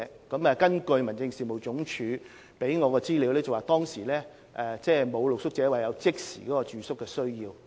根據民政事務總署給我的資料，當時沒有露宿者表示有即時住宿需要。